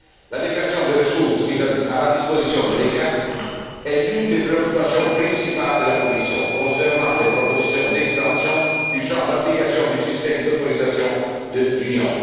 l'adéquation des ressources mises à la disposition de l'ECHA est l'une des préoccupations principales de la Commission, concernant les propositions d'extension du champ d'application du système d'autorisation de l'Union.